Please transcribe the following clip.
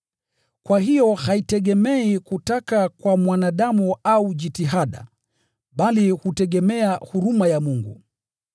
Kwa hiyo haitegemei kutaka kwa mwanadamu au jitihada, bali hutegemea huruma ya Mungu.